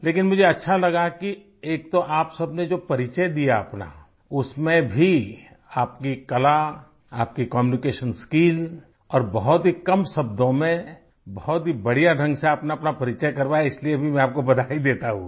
लेकिन मुझे अच्छा लगा कि एक तो आप सबने जो परिचय दिया अपना उसमें भी आपकी कला आपकी कम्यूनिकेशन स्किल और बहुत ही कम शब्दों में बहुत ही बढ़िया ढंग से आपने अपना परिचय करवाया इसलिए भी मैं आपको बधाई देता हूँ